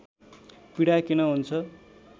पीडा किन हुन्छ